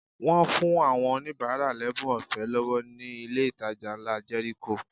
Wọ́n fún àwọn oníbàárà lẹ́bùn ọ̀fẹ́ lọ́wọ́ ní ilé ìtajà ńlá Jẹ́ríkò